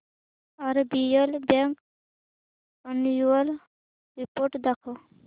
RBL bank annual report दाखव